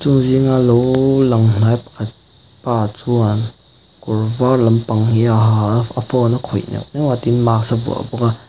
l chung zinga lo lang hnai pakhat pa chuan kawr var lampang hi a ha a a phone a khawih neuh neuh a tin mask a vuah bawk a.